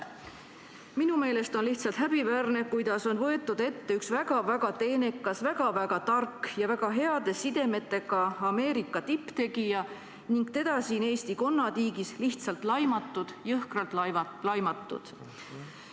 Minu meelest on lihtsalt häbiväärne, kuidas on võetud ette üks väga-väga teenekas, väga-väga tark ja väga heade sidemetega Ameerika tipptegija ning teda siin Eesti konnatiigis lihtsalt laimatud, jõhkralt laimatud.